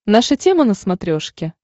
наша тема на смотрешке